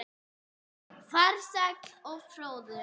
Farsæll og fróður.